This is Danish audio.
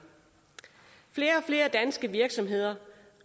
flere og flere danske virksomheder